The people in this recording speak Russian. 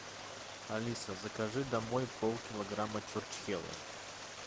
алиса закажи домой полкилограмма чурчхелы